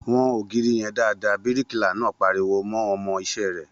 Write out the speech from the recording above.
Wọn ògiri yẹn dáadáa!, bíríkìlà náà pariwo mọ́ ọmọ iṣẹ́ rẹ̀